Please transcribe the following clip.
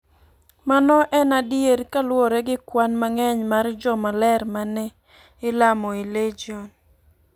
Mano en adier kaluwore gi kwan mang'eny mar joma ler ma ne ilamo e Legion.